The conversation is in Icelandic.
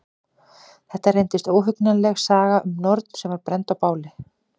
Þetta reyndist óhugnanleg saga um norn sem var brennd á báli.